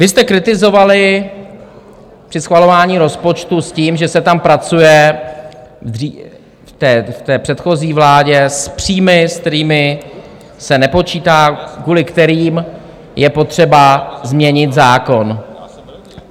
Vy jste kritizovali při schvalování rozpočtu s tím, že se tam pracuje, v té předchozí vládě, s příjmy, s kterými se nepočítá, kvůli kterým je potřeba změnit zákon.